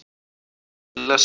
Lilla sá um það.